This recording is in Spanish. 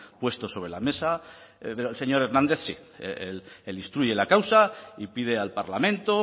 puesto sobre la mesa pero el señor hernández sí él instruye la causa y pide al parlamento